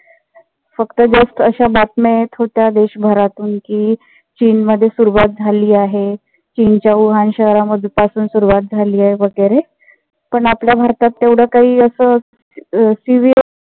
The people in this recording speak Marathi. फक्त just अशा बातम्या येत होत्या देश भरातून कि चीन मध्ये सुरुवात झाली आहे. चीन च्या वूहान शहरापासून सुरुवात झाली आहे. वगैरे पण आपल्या भारतात तेवढ काही अस serious